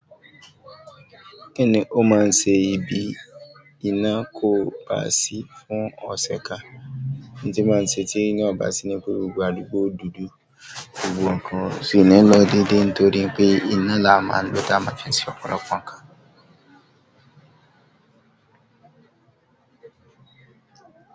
Kíni ó máa ń ṣe ibi iná kò bá sí fún ọ̀ṣẹ̀ kan, tí máa ń ṣe tí iná ò bá sí ní gbogbo àdúgbò dúdú, gbogbo nǹkan sì ní lọ́ dede nítorí pé iná la máa ń lò tá máa ń ṣe ọ̀pọ̀lọpọ̀ nǹkan.